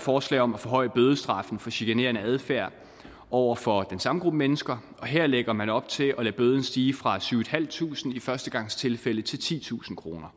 forslag om at forhøje bødestraffen for chikanerende adfærd over for den samme gruppe mennesker og her lægger man op til at lade bøden stige fra syv tusind i førstegangstilfælde til titusind kroner